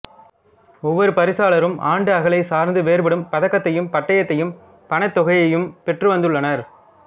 ஒவ்வொரு பரிசாளரும் ஆண்டுஅகளைச் சார்ந்து வேறுபடும் பதக்கத்தையும் பட்டயத்தையும் பணத்தொகையையும் பெற்றுவந்துள்ளனர்